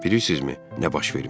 Bilirsizmi, nə baş vermişdi?